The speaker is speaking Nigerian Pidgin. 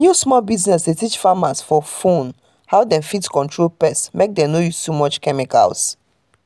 new small business dey teach farmers for phone how dem fit control pest mek dem no use too much chemicals